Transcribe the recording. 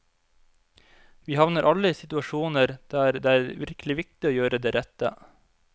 Vi havner alle i situasjoner der det er virkelig viktig å gjøre det rette.